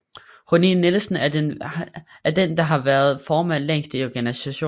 Rúni Nielsen er den der har været formand længst i organisationen